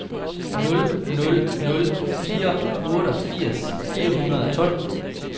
nul nul nul fire otteogfirs fire hundrede og tolv